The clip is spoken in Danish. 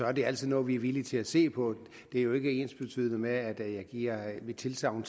er det altid noget vi er villige til at se på det er jo ikke ensbetydende med at jeg giver mit tilsagn